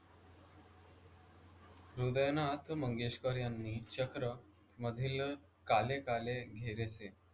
हृदयनाथ मंगेशकर यांनी चक्रमधील काले काले घेरेसे